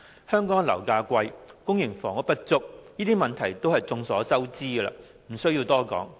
香港樓價昂貴，公營房屋不足，這些問題都是眾所周知，不用多說。